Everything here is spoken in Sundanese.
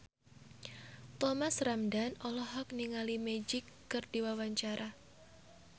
Thomas Ramdhan olohok ningali Magic keur diwawancara